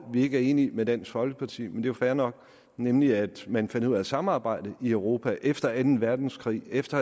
vi ikke er enig med dansk folkeparti er jo fair nok nemlig at man fandt ud af at samarbejde i europa efter anden verdenskrig efter